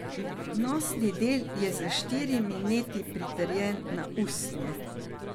Nosni del je s štirimi neti pritrjen na usnje.